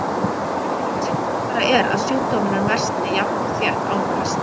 Sjaldgæfara er að sjúkdómurinn versni jafnt og þétt án kasta.